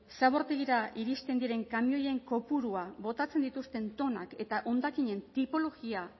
zabortegira iristen diren kamioien kopurua botatzen dituzten tonak eta hondakinen tipologia